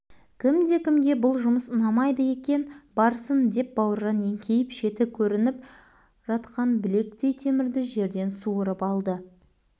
кімде-кімге бұл жұмыс ұнамайды екен барсын деп бауыржан еңкейіп шеті көрініп жатқан білектей темірді жерден суырып алды